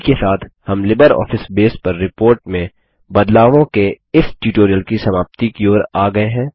इसी के साथ हम लिबरऑफिस बेस पर रिपोर्ट में बदलावों के इस ट्यूटोरियल की समाप्ति की ओर आ गये हैं